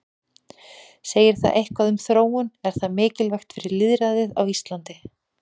Segir það eitthvað um þróun, er það mikilvægt fyrir lýðræðið á Íslandi?